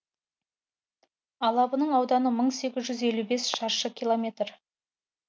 алабының ауданы мың сегіз жүз елу бес шаршы километр